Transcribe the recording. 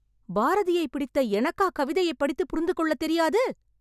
பாரதியைப் பிடித்த எனக்கா கவிதையைப் படித்து புரிந்து கொள்ள தெரியாது ?